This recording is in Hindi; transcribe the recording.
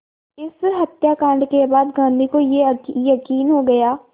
इस हत्याकांड के बाद गांधी को ये यक़ीन हो गया